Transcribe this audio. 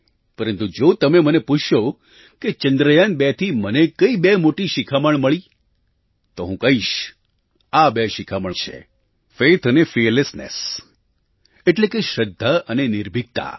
પરંતુ જો તમે મને પૂછશો કે ચંદ્રયાન2થી મને કઈ બે મોટી શીખામણ મળી તો હું કહીશ આ બે શીખામણ છે ફેઇથ અને ફીયરલેસનેસ એટલે કે શ્રદ્ધા અને નિર્ભિકતા